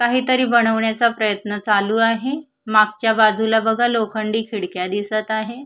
काहीतरी बनविण्याचा प्रयत्न चालू आहे मागच्या बाजूला बघा लोखंडी खिडक्या दिसत आहे.